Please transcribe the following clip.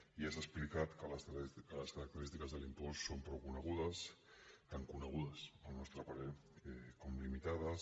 i ja s’ha explicat les característiques de l’impost són prou conegudes tan conegudes al nostre parer com limitades